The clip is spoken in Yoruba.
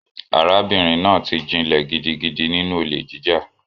Arábìnrin náà ti jinlẹ̀ gidigidi nínú olè jíjà.